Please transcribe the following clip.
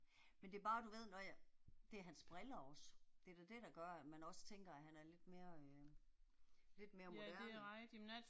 Men det bare du ved når jeg, det er hans briller også. Det er da det der gør at man også tænker at han er lidt mere øh. Lidt mere moderne